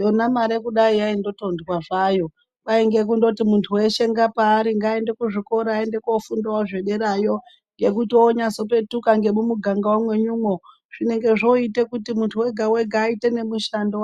Yona mare kudai kurikuti yaingotondwa hayo kwaiye kuti muntu veshe paanenge ari ngaaende kuzvikora, ngaaende kofundavo zvekuderayo ngekuti onasekupetuka kunyange nemuganga mwenyumwo zvinenge zvoitekuti muntu oga oga oite mushando